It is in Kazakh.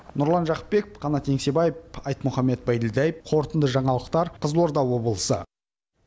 нұрлан жақыпбеков қанат еңсебаев айтмұхаммед байділдаев қорытынды жаңалықтар қызылорда облысы